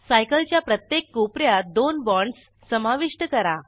cycle च्या प्रत्येक कोप यात दोन बाँडस समाविष्ट करा